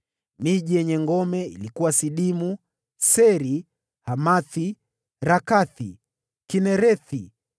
Miji yenye ngome ilikuwa Sidimu, Seri, Hamathi, Rakathi, Kinerethi,